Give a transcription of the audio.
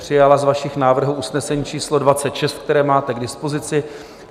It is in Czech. Přijala z vašich návrhů usnesení číslo 26, které máte k dispozici.